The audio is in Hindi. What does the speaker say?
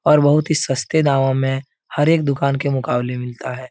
और बहुत ही सस्ते दामों मे हर एक दुकान के मुकाबले मिलता है।